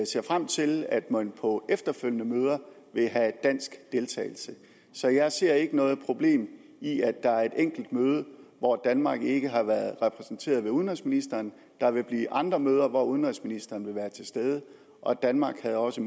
ser frem til at man på efterfølgende møder vil have dansk deltagelse så jeg ser ikke noget problem i at der er et enkelt møde hvor danmark ikke har været repræsenteret ved udenrigsministeren der vil blive andre møder hvor udenrigsministeren vil være til stede og danmark havde også